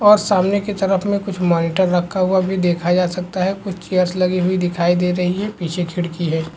और सामने की तरफ में कुछ मॉनिटर रखा हुआ भी देखा जा सकता है कुछ चेयर्स लगी हुई दिखाई दे रही हैं पीछे खिड़की है।